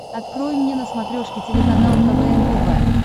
открой мне на смотрешке телеканал квн тв